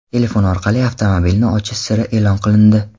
Telefon orqali avtomobilni ochish siri e’lon qilindi.